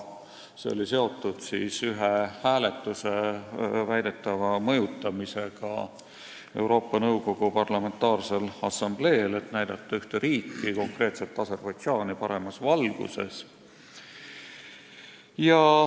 See oli seotud ühe hääletuse väidetava mõjutamisega Euroopa Nõukogu Parlamentaarsel Assambleel, et näidata ühte riiki ehk konkreetselt Aserbaidžaani paremas valguses.